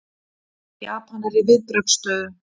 Japanar í viðbragðsstöðu